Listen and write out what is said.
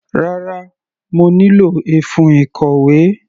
Rárá, mo nílò ẹfun ìkọ̀wé.